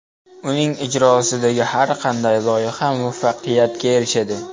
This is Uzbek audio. Uning ijrosidagi har qanday loyiha muvaffaqiyatga erishadi.